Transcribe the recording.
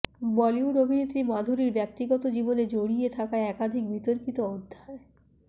বলিউড অভিনেত্রী মাধুরীর ব্যক্তিগত জীবনে জড়িয়ে থাকা একাধিক বিতর্কিত অধ্যায়